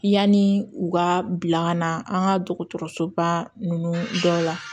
Yani u ka bila ka na an ka dɔgɔtɔrɔsoba ninnu dɔ la